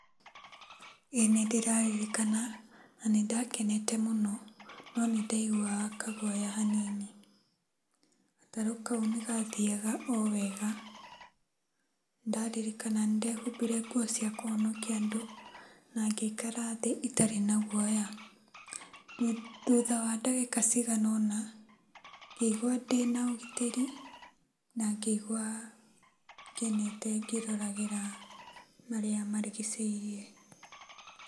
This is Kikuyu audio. ĩĩ nĩndĩrarikana na nĩndakenete mũno, no nĩndaiguaga kagwoya hanini. Gatarũ kau nĩgathiaga owega. Ndaririkana nĩndehumbire nguo cia kũhonokia andũ nangĩikara thĩĩ itarĩ na gwoya. Thutha wa ndagĩka ciganona, ngĩigua ndĩna ũgitĩri na ngĩigua ngenete ngĩroragĩra marĩa marigicĩirie.